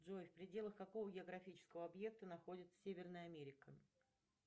джой в пределах какого географического объекта находится северная америка